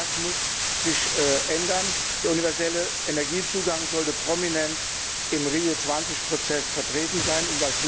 Das muss sich ändern, der universelle Zugang zu Energie sollte prominent im Rio20 Prozess vertreten sein.